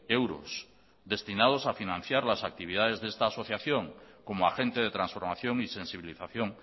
euros destinados a financiar las actividades de esta asociación como agente de transformación y sensibilización